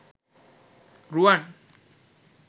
ruwan